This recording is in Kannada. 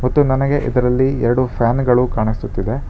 ಮತ್ತು ನನಗೆ ಇದರಲ್ಲಿ ಎರಡು ಫ್ಯಾನ್ ಗಳು ಕಾಣಿಸುತ್ತಿದೆ.